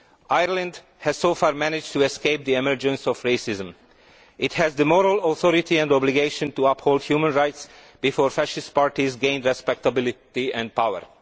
Ireland has so far managed to escape the emergence of racism. It has the moral authority and obligation to uphold human rights before fascist parties gain respectability and power.